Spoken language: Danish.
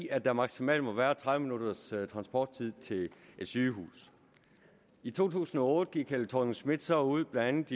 at der maksimalt må være tredive minutters transporttid til et sygehus i to tusind og otte gik fru helle thorning schmidt så ud blandt